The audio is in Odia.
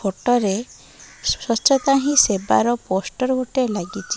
ଫଟ ରେ ସ୍ବଚ୍ଛତା ହିଁ ସେବାର ପୋଷ୍ଟର ଗୁଟେ ଲାଗିଚି।